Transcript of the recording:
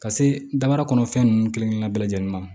Ka se daba kɔnɔ fɛn nunnu kelen kelen bɛɛ lajɛlen ma